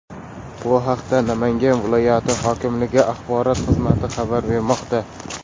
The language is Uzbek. Bu haqda Namangan viloyati hokimligi axborot xizmati xabar bermoqda .